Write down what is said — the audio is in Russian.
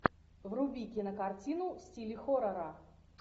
вруби кинокартину в стиле хоррора